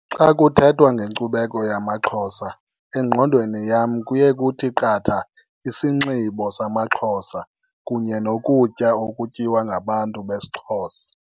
Xa kuthethwa ngenkcubeko yamaXhosa engqondweni yam kuye kuthi qatha isinxibo samaXhosa kunye nokutya okutyiwa ngabantu besiXhosa.